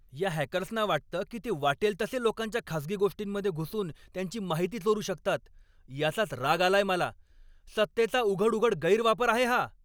या हॅकर्सना वाटतं की ते वाटेल तसे लोकांच्या खाजगी गोष्टींमध्ये घुसून त्यांची माहिती चोरू शकतात, याचाच राग आलाय मला. सत्तेचा उघड उघड गैरवापर आहे हा.